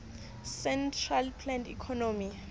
centrally planned economy